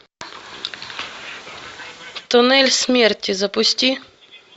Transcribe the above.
туннель смерти запусти